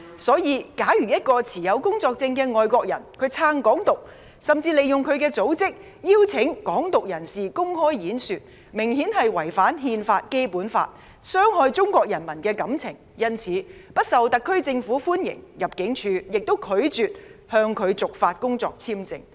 所以，假如一個持有工作簽證的外國人支持"港獨"，甚至利用他的組織邀請"港獨"人士公開演說，明顯違反《憲法》和《基本法》，傷害中國人民的感情，他自然不受特區政府歡迎，入境處亦拒絕向他續發工作簽證。